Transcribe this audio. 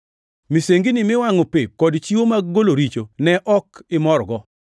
Misengini miwangʼo pep kod chiwo mag golo richo ne ok imorgo.